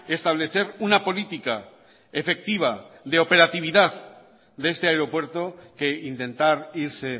establecer una política efectiva de operatividad de este aeropuerto que intentar irse